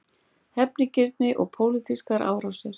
Hefnigirni og pólitískar árásir